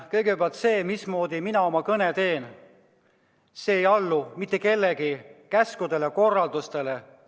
Kõigepealt, see, mismoodi mina oma kõne teen, ei allu mitte kellegi käskudele-korraldustele.